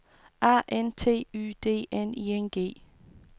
A N T Y D N I N G